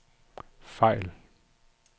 fejl